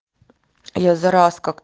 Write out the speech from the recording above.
я зараз как